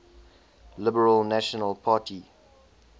liberal national party